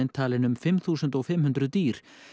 talinn um fimm þúsund fimm hundruð dýr